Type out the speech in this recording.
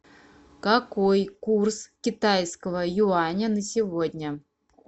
какой курс китайского юаня на сегодня